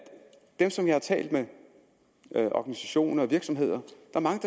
dem som jeg har talt med organisationer og virksomheder